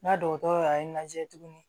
N ka dɔgɔtɔrɔ y'a n lajɛ tuguni